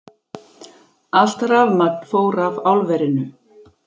Allt rafmagn fór af álverinu